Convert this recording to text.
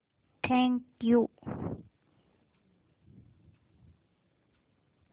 thank you